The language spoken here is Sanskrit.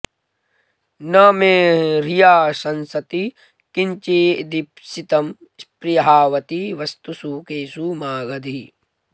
न मे ह्रिया शंसति किंचिदीप्सितं स्पृहावती वस्तुषु केषु मागधी